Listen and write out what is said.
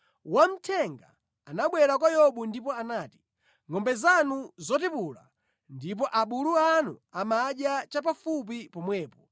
wamthenga anabwera kwa Yobu ndipo anati, “Ngʼombe zanu zotipula ndipo abulu anu amadya chapafupi pomwepo,